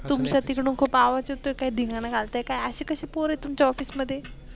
तुमच तिकडून खूप आवाज येतो काय धिंगाणा घालत्या काय असी कसी पोर आहे तुमच्या Office मध्ये?